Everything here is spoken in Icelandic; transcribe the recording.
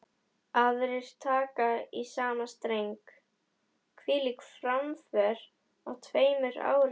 Aðrir taka í sama streng: Hvílík framför á tveimur árum.